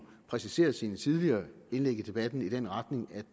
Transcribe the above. præcisere sine tidligere indlæg i debatten i den retning at